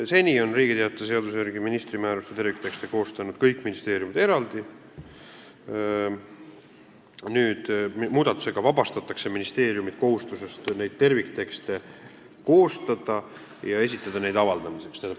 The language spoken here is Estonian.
Seni on Riigi Teataja seaduse järgi ministri määruste terviktekste koostanud kõik ministeeriumid eraldi, muudatusega vabastatakse ministeeriumid kohustusest neid terviktekste koostada ja neid avaldamiseks esitada.